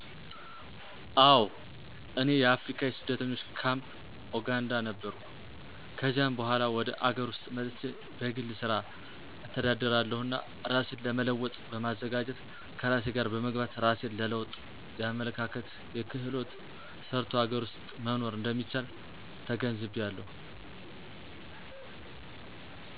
አወ። እኔ የአፍሪካ የስደተኞች ካፕ ኦጋንዳ ነበርሁ። ከዚያም በሗላ ወደ አገር ዉስጥ መጥቸ በግል ስራ እተዳደራለሁና እራሴን ለለዉጥ በማዘጋጀት ከራሴ ጋር በመግባባት እራሴን ለለዉጥ የአመለካከት: የክህሎት: ሰርቶ አገር ውስጥ መሆር እንደሚቻል ተገንዝቢያለሁ።